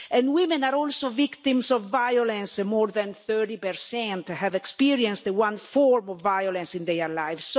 Women are also victims of violence, and more than 30 have experienced one form of violence in their lives.